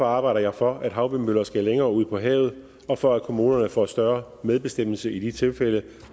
arbejder jeg for at havvindmøller skal længere ud på havet og for at kommunerne får større medbestemmelse i de tilfælde